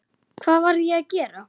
Hvað var ég að gera?